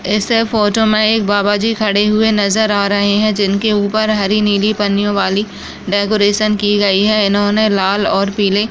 इस फोटो मे एक बाबाजी खड़े हुए नजर आ रहे है जिनके उपर हरी नीली पन्नियों वाली डेकोरेशन की गई है इन्होंने लाल और पीले --